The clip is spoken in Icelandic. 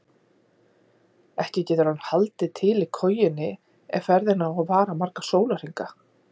Ekki getur hann haldið til í kojunni ef ferðin á að vara marga sólarhringa.